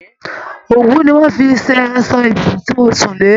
Òwú ni wọn fi ṣe aṣọ ibùsùn tí mo sún le